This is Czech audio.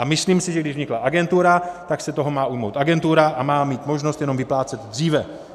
A myslím si, že když vznikla agentura, tak se toho má ujmout agentura a má mít možnost jenom vyplácet dříve.